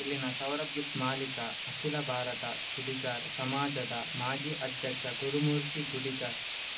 ಇಲ್ಲಿನ ಸೌರಭ್ ಗಿಫ್ಟ್ ಮಾಲಿಕ ಅಖಿಲ ಭಾರತ ಕುಡಿಗಾರ್ ಸಮಾಜದ ಮಾಜಿ ಅಧ್ಯಕ್ಷ ಗುರುಮೂರ್ತಿ ಗುಡಿಗ